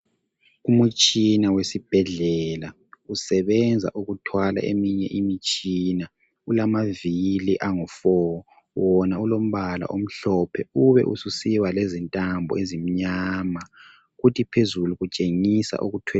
Umutshina wesibhedlela usebenza ukuthwala eminye imitshina, kulamavili angu 4 wona ulombala omhlophe ube susiba lentambo ezimnyama.